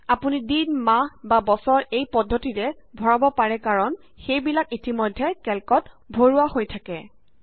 আপুনি দিন মাহ বা বছৰ এই পদ্ধতিৰে ভৰাব পাৰে কাৰণ সেইবিলাক ইতিমধ্যে কেল্কত ভৰোৱা হৈ থাকে